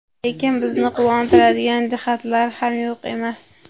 Lekin bizni quvontiradigan jihatlar ham yo‘q emas.